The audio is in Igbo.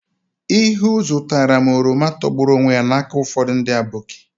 Ihuu zụtara m oroma togburu onwe ya n'aka ụfọdụ ndị aboki.